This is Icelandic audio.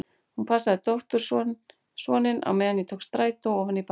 Hún passaði dóttursoninn á meðan ég tók strætó ofan í miðbæ.